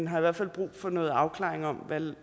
har i hvert fald brug for noget afklaring om